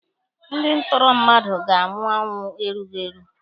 Ndị ntụrụ mmadụ ga-anwụ ọnwụ erughi eru.